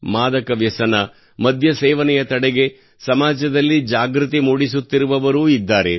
ಮಾದಕ ವ್ಯಸನ ಮದ್ಯ ಸೇವನೆಯ ತಡೆಗೆ ಸಮಾಜದಲ್ಲಿ ಜಾಗೃತಿ ಮೂಡಿಸುತ್ತಿರುವವರೂ ಇದ್ದಾರೆ